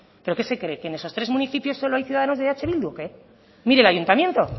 pero qué se cree que en esos tres municipios solo hay ciudadanos de eh bildu o qué mire el ayuntamiento